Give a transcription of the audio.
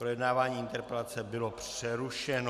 Projednávání interpelace bylo přerušeno.